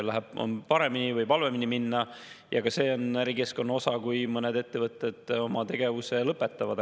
Läheb paremini, võib halvemini minna, ka see on ärikeskkonna osa, kui mõned ettevõtted oma tegevuse lõpetavad.